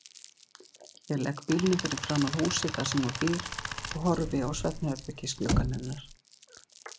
Ég legg bílnum fyrir framan húsið þar sem hún býr og horfi á svefnherbergisgluggann hennar.